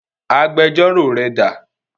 Agbẹjọ́rò rẹ dà?